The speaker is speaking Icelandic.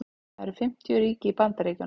það eru fimmtíu ríki í bandaríkjunum